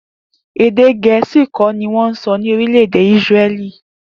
Èdè Gè̩é̩sì kó̩ ni wó̩n so̩ ní orílè̩ èdè Isre̩lí